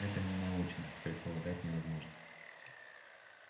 это ненаучно предполагать невозможное